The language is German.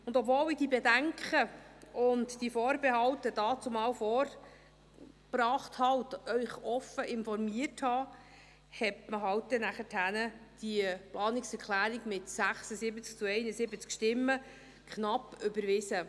Obwohl ich diese Bedenken und Vorbehalte damals vorbrachte und Sie offen informierte, hat man halt nachher die Planungserklärung mit 76 zu 71 Stimmen knapp überwiesen.